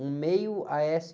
Um meio a-ésse